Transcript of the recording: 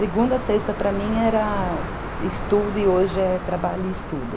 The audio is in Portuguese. Segunda, sexta, para mim era... estudo e hoje é trabalho e estudo.